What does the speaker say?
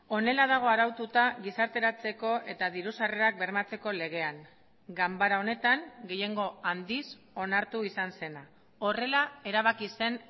honela dago araututa gizarteratzeko eta diru sarrerak bermatzeko legean ganbara honetan gehiengo handiz onartu izan zena horrela erabaki zen